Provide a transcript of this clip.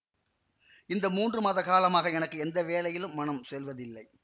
இந்த மூன்று மாத காலமாக எனக்கு எந்த வேலையிலும் மனம் செல்வதில்லை